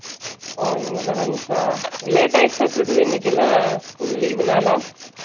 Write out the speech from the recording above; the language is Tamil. இனிமேல் தா lunch ஆ late ஆயிடுச்சாட்டார்க்குது இன்னைக்கு எல்லா school leave நாலா